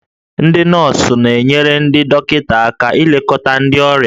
Ndị nọọsụ na-enyere ndị dọkịta aka ilekọta ndị ọrịa